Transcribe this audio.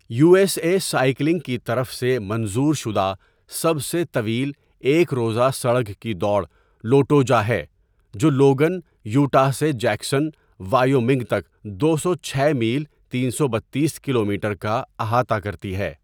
You S A cycling کی طرف سے منظور شدہ سب سے طویل ایک روزہ سڑک کی دوڑ لوٹوجا ہے جو لوگن، یوٹاہ سے جیکسن، وائیومنگ تک دو سو چھ میل تین سو بتیس کلومیٹر کا احاطہ کرتی ہے.